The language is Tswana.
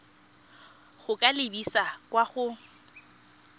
go ka lebisa kwa go